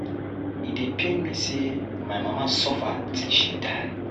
E dey pain me say my mama suffer till she die